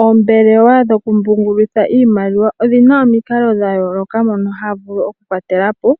Oombelewa dhoku pungulitha iimaliwa, odhina omikalo dha yooloka mono hadhi vulu oku kwatelapo